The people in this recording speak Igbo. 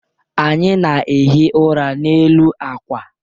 Anyị na-ehi ụra n'elu akwa.